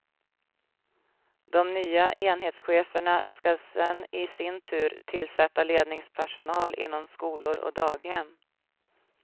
De nya enhetscheferna skall sedan i sin tur tillsätta ledningspersonal inom skolor och daghem.